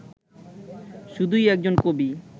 শুধুই একজন কবি